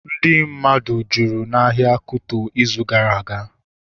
Ndị mmadụ jụrụ n'ahịa Kuto ịzụ gara aga